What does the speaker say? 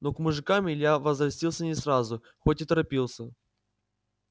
но к мужикам илья возвратился не сразу хоть и торопился